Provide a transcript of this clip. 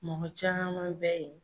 Mɔgɔ caman bɛ ye.